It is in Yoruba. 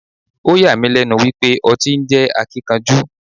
Oh yà mí lẹ́nu wípé ọtí ń jẹ́ Akíkanjú.